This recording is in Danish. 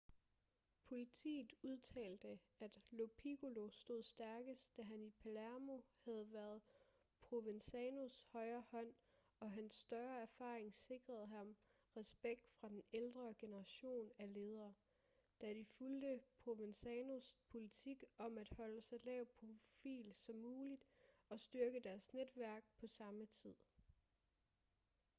politiet udtalte at lo piccolo stod stærkest da han i palermo havde været provenzanos højre hånd og hans større erfaring sikrede ham respekt fra den ældre generation af ledere da de fulgte provenzanos politik om at holde så lav profil som muligt og styrke deres netværk på samme tid